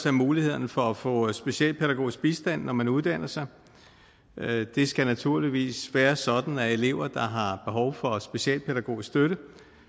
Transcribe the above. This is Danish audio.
af mulighederne for at få specialpædagogisk bistand når man uddanner sig det skal naturligvis være sådan at elever der har behov for specialpædagogisk støtte